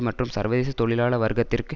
மற்றும் சர்வதேச தொழிலாள வர்க்கத்திற்கு